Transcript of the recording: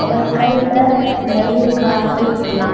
அவர் கைல நெறைய காசு இருக்கு.